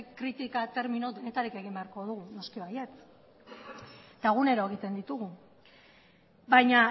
kritika termino denetarik egin beharko ditugu noski baietz eta egunero egiten ditugu baina